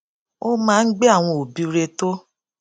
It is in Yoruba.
ó máa ń gbé àwọn òbí rè tó